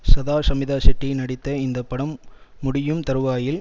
சதா ஷமிதா ஷெட்டி நடித்த இந்த படம் முடியும் தறுவாயில்